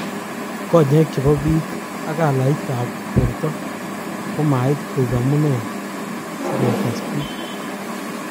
Konyek chepo pik ak coloit ap porto komait koip amune si ngesas pik.